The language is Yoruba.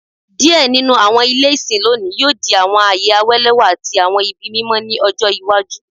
Diẹ ninu awọn ile isin lonii yoo di awọn aaye awalẹwa ati awọn ibi mimọ ni ọjọ iwaju